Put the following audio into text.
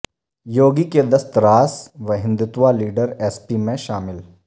یوگی کے دست راست و ہندوتوا لیڈر ایس پی میں شامل